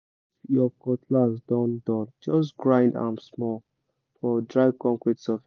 if your cutlass don dull just grind am small for dry concrete surface